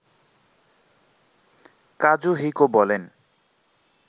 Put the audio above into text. Kazuhiko বলেন